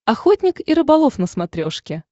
охотник и рыболов на смотрешке